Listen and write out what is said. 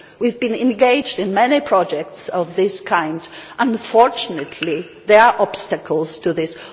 We have been engaged in many projects of this kind and unfortunately there are obstacles to this.